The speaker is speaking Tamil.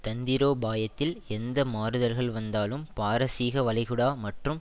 தந்திரோபாயத்தில் எந்த மாறுதல்கள் வந்தாலும் பாரசீக வளைகுடா மற்றும்